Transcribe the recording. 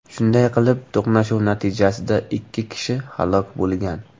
Shunday qilib, to‘qnashuv natijasida ikki kishi halok bo‘lgan.